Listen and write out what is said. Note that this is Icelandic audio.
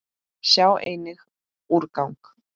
Sjá einnig: úrgang